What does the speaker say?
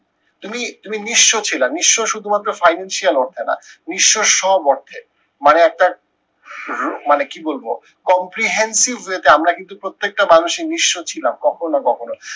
তুমি তুমি নিঃস্ব ছিলা নিঃস্ব শুধু মাত্র financial অর্থে না, নিঃস্ব সব অর্থে। মানে একটা রু মানে কি বলবো comprehensive way তে আমরা কিন্তু প্রত্যেকটা মানুষই নিঃস্ব ছিলাম কখনো না কখনো